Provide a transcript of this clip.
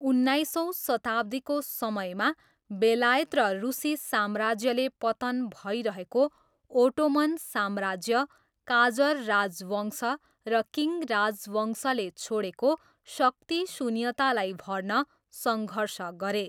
उन्नाइसौँ शताब्दीको समयमा, बेलायत र रुसी साम्राज्यले पतन भइरहेको ओटोमन साम्राज्य, काजर राजवंश र किङ राजवंशले छोडेको शक्ति शून्यतालाई भर्न सङ्घर्ष गरे।